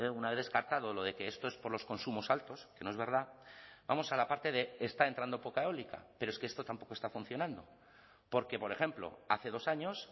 una vez descartado lo de que esto es por los consumos altos que no es verdad vamos a la parte de está entrando poca eólica pero es que esto tampoco está funcionando porque por ejemplo hace dos años